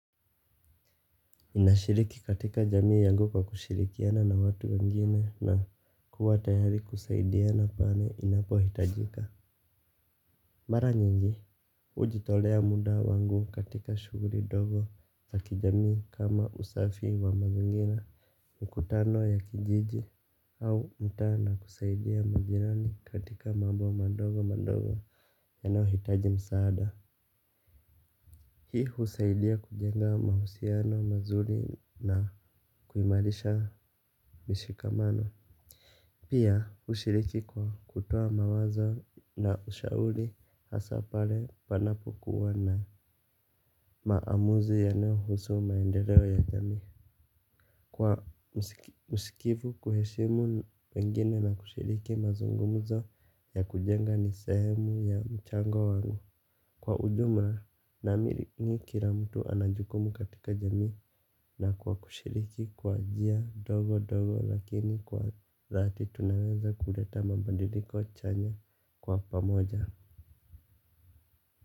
Ninashiriki katika jamii yangu kwa kushirikiana na watu wengine na kuwa tayari kusaidia na pale ninapohitajika. Mara nyingi, ujitolea muda wangu katika shuguri dogo za kijamii kama usafi wa mazingira. Mkutano ya kijiji au mtaa na kusaidia majirani katika mambo madogo madogo yanaohitaji msaada. Hii husaidia kujenga mahusiano mazuri na kuimarisha mishikamano. Pia ushiriki kwa kutua mawazo na ushauri hasa pale panapokuwa na maamuzi yanayohusu maendeleo ya jamii. Kwa msikivu kuheshimu wengine na kushiriki mazungumuzo ya kujenga ni swhemu ya mchango wangu. Kwa ujumla naamini kila mtu ana jukumu katika jamii na kwa kushiriki kwa njia dogo dogo lakini kwa dhati tunaeza kuleta mabandiliko chanya kwa pamoja.